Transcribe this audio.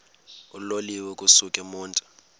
uloliwe ukusuk emontini